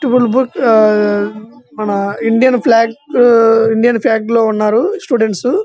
twelve board ఆ మన Indian flag Indian flag లో ఉన్నారు స్టూడెంట్స్ --